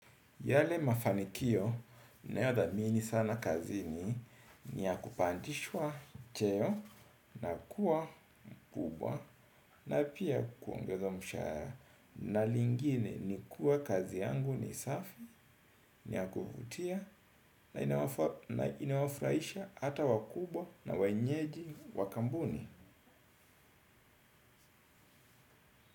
Yale mafanikio nayodhamini sana kazini ni ya kupandishwa cheo na kuwa mkubwa na pia kuongezwa mshahara na lingine ni kuwa kazi yangu ni safi ni ya kuvutia na inawafurahisha hata wakubwa na wenyeji wa kampuni.